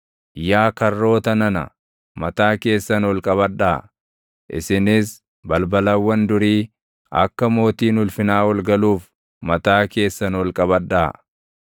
Yaa karroota nana, mataa keessan ol qabadhaa; isinis balbalawwan durii akka mootiin ulfinaa ol galuuf mataa keessan ol qabadhaa.